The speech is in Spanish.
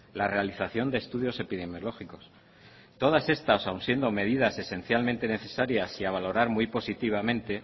la realización de estudios epidemiológicos todas estas aun siendo medidas esencialmente necesarias y a valorar muy positivamente